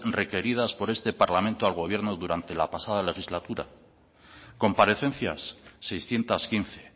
requeridas por este parlamento al gobierno durante la pasada legislatura comparecencias seiscientos quince